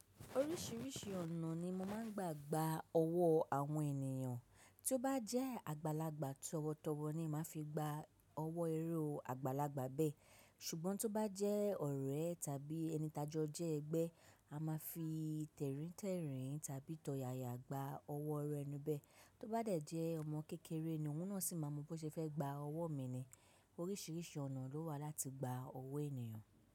Oríṣìíríṣìí ọ̀nà ni mo máa ń gbà gbà ọwọ́ àwọn ènìyàn. Tí ó bá jẹ́ àgbàlagbà tọwọtọwọ ni máa fi gba ọwọ́ eré àgbàlagbà bẹ́ẹ̀. Ṣùgbọ́n tí ó bá jẹ́ ọ̀rẹ́ tàbí ẹni ìtajọ jẹ́ ẹgbẹ́, a máa fi tẹ̀ríntẹ̀rìn tàbí tọ̀yàyà gba ọwọ́ ọrẹ inú bẹ́ẹ̀. Tí ó bá jẹ́ ọmọ kékeré ni òun náà sì máa mọ bó ṣe fẹ́ gba ọwọ́ mi ni. Oríṣìíríṣìí ọ̀nà ló wà láti gba ọwọ́ ènìyàn.